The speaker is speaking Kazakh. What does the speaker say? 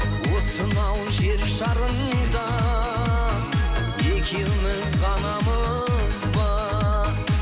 осынау жер шарында екеуміз ғанамыз ба